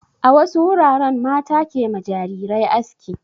A wasu wuraren mata ke ma jarirai aski.